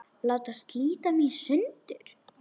Láta slíta mig í sundur.